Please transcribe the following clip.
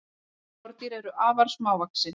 sum skordýr eru afar smávaxin